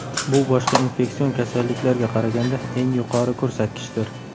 Bu boshqa infeksion kasalliklarga qaraganga eng yuqori ko‘rsatkichdir.